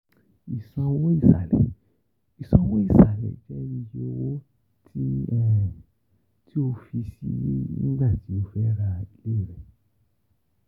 Isanwo isalẹ: Isanwo isalẹ jẹ iye owo ti ti o fi sii nigbati o ra ile rẹ.